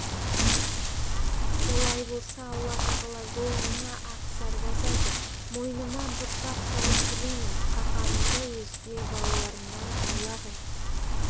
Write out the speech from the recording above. олай болса алла тағала жолыңа ақсарбас айтып мойныма бұршақ салып тілеймін қаһарыңды өзге балаларымнан аулақ ет